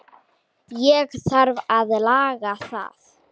Ég þarf að laga það.